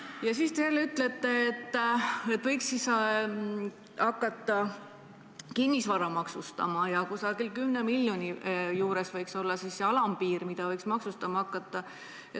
Ja samas te ütlete, et võiks hakata kinnisvara maksustama ja kusagil 10 miljoni juures võiks olla see alampiir, millest alates võiks maksustama hakata.